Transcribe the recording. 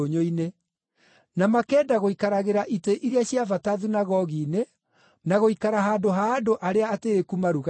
na makenda gũikaragĩra itĩ iria cia bata thunagogi-inĩ, na gũikara handũ ha andũ arĩa atĩĩku maruga-inĩ.